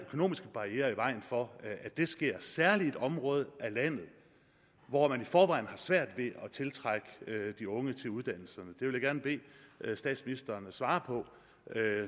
økonomiske barrierer i vejen for at det sker særlig i et område af landet hvor man i forvejen har svært ved at tiltrække de unge til uddannelserne vil jeg gerne bede statsministeren svare på